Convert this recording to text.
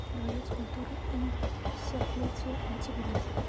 дворец культуры им пятьдесят летия октября